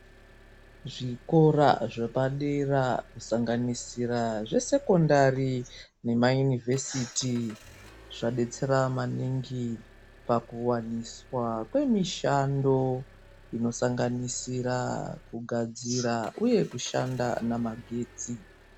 Zvikora zvepa dera kusanganisira zve sekondari ne mayunivhesiti zvadetsera maningi paku waniswa kwe mishando ino sanganisira kugadzira uye kushanda na magetsi.